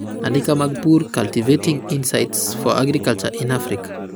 andika mag pur; Cultivating Insights for Agriculture in Africa